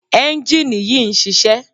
ẹ́njìnì yìí ń ṣiṣẹ́.